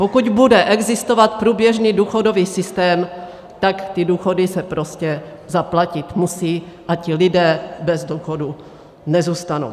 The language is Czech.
Pokud bude existovat průběžný důchodový systém, tak ty důchody se prostě zaplatit musí a ti lidé bez důchodů nezůstanou.